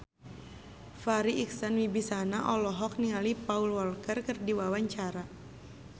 Farri Icksan Wibisana olohok ningali Paul Walker keur diwawancara